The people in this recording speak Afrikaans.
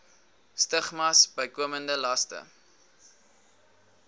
stigmas bykomende laste